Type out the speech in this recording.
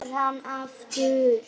Og kemur hann aftur?